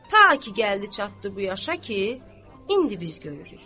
Ta ki gəldi çatdı bu yaşa ki, indi biz görürük.